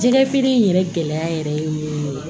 Jɛgɛ feere in yɛrɛ gɛlɛya yɛrɛ ye mun ye